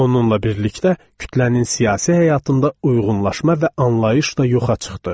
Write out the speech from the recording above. Onunla birlikdə kütlənin siyasi həyatında uyğunlaşma və anlayış da yoxa çıxdı.